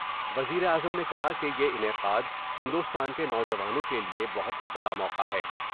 وزیراعظم نے کہا کہ یہ انعقاد ہندوستان کے نوجوانوں کے لئے بہت بڑا موقع ہے۔